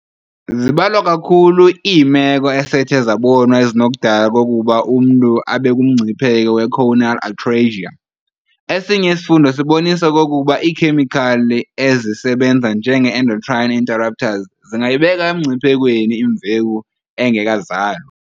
Zibalwa kakhulu iimeko esethe zabonwa ezinokudala okokuba umntu abekumngcipheko we-choanal atresia. Esinye isifundo sibonisa okokuba iikhemikhali ezisebenza njenge-endocrine interrupters zingayibeka emngciphekweni imveku engekazalwa.